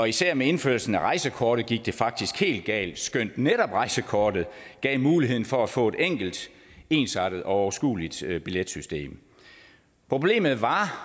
især med indførelsen af rejsekortet gik det faktisk helt galt skønt netop rejsekortet gav muligheden for at få et enkelt ensartet og overskueligt billetsystem problemet var